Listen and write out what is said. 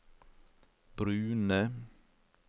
brune